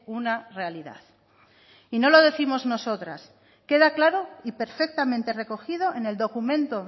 una realidad y no lo décimos nosotras queda claro y perfectamente recogido en el documento